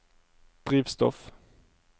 drivstoff